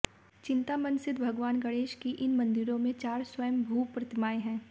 चिंतामन सिद्ध भगवान गणेश की इन मंदिरों में चार स्वंयभू प्रतिमाएं हैं